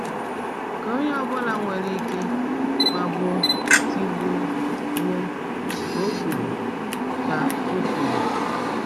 "Ka onye ọbụla nwere ike, magbuo, tigbuo, gbuo," ka o kwuru. ka o kwuru.